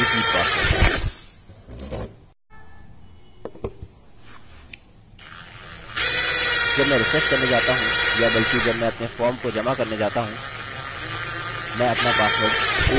जब मैं रिफ्रेश करने जाता हूँ या बल्कि जब मैं अपने फॉर्म को जमा करने जाता हूँ मैं अपना पासवर्ड abc और मेरा repeat password abc लिखूँगा